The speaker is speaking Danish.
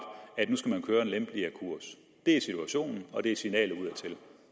at nu skal man føre en lempeligere kurs det er situationen det er signalet udadtil